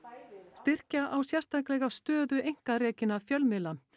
styrkja á sérstaklega stöðu einkarekinna fjölmiðla